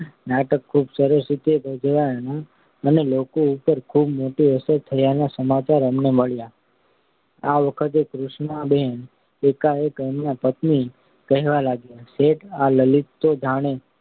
ત્યારે નાટક ખૂબ સરસ રીતે ભજવાયાના અને લોકો ઉપર ખૂબ મોટી અસર થયાના સમાચાર અમને મળ્યા. આ વખતે કૃષ્ણાબહેન એકાએક એમના પતિને કહેવા લાગ્યાં શેઠ આ લલિતા તો જાણે